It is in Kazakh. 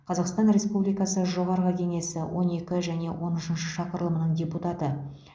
қазақстан республикасы жоғарғы кеңесі он екі және он үшінші шақырылымының депутаты